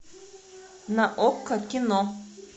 на окко кино